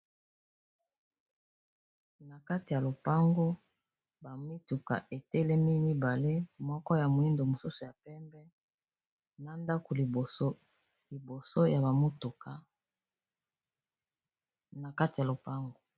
Na kati ya lopango ba mituka etelemi mibale moko ya moyindo mosusu ya pembe na ndako liboso ya ba mutuka na kati ya lopango.